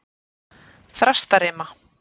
Þrastarima